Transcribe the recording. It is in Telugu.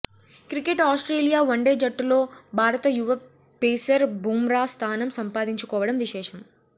క్రికెట్ ఆస్ట్రేలియా వన్డే జట్టులో భారత యువ పేసర్ బూమ్రా స్థానం సంపాదించుకోవడం విశేషం